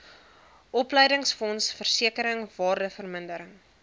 opleidingsfonds versekering waardevermindering